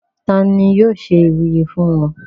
ta ni yóò ṣe ìwúyè fún wọn?